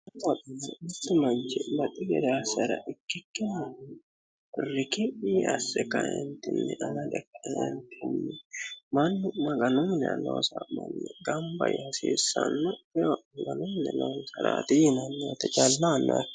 Mitu manchi baxi gede assara ikkikkinni riki'mi asse amade kaentinni mannu maganu minira loossano gamba yaa hasiisano.